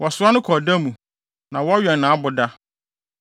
Wɔsoa no kɔ ɔda mu, na wɔwɛn nʼaboda.